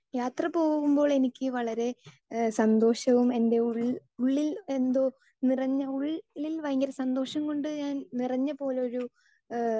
speaker 2 യാത്ര പോകുമ്പോൾ എനിക്ക് വളരെ സന്തോഷവും എന്റെ ഉള്ളിൽ ഉള്ളിൽ എന്തോ, ഉള്ളിൽ ഭയങ്കര സന്തോഷം കൊണ്ട് ഞാൻ നിറഞ്ഞ പോലൊരു